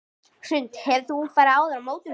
Hrund: Hefur þú farið áður á mótorhjól?